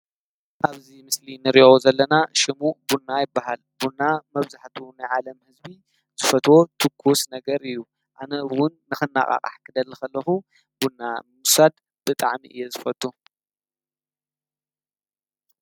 ኣብዚ ምስሊ እንሪኦ ዘለና ሽሙ ቡና ይበሃል። ቡና መብዛሕትኡ ናይ ዓለም ህዝቢ ዝፍትዎ ትኩስ ነገር እዩ ። ኣነ እውን ንክነቃቃሕ ክደሊ ከለኩ ቡና ምዉሳድ ብጣዕሚ እየ ዝፈቱ።